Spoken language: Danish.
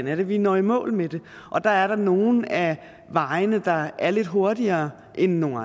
er vi når i mål med det og der er der nogle af vejene der er lidt hurtigere end nogle